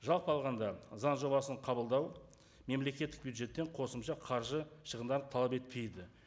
жалпы алғанда заң жобасын қабылдау мемлекеттік бюджеттен қосымша қаржы шығындар талап етпейді